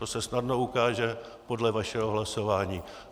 To se snadno ukáže podle vašeho hlasování.